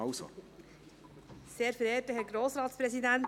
Ach so, Sie wollen einfach noch sprechen.